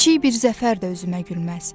Kiçik bir zəfər də özümə gülməz.